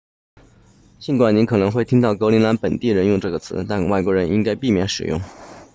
尽管你可能会听到格陵兰本地人用这个词但外国人应该避免使用